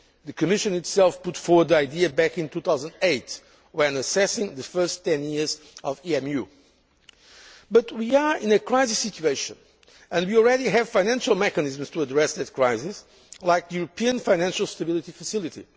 idea. The Commission itself put forward the idea back in 2008 when assessing the first ten years of EMU, but we are in a crisis situation and we already have financial mechanisms to address this crisis, like the European Financial Stability Facility.